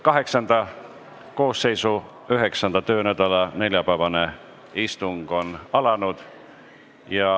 VIII koosseisu 9. töönädala neljapäevane istung on alanud.